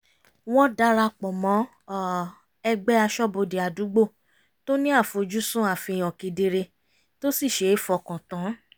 wọ́n darapọ̀ mọ́ ẹgbẹ́ aṣọ́bodè àdúgbò tó ní àfoj́sùn àfihàn kedere tó sì ṣe é fọkàn tán